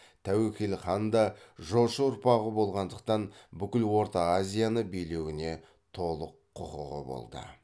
тәуекел хан да жошы ұрпағы болғандықтан бүкіл орта азияны билеуіне толық құқығы болды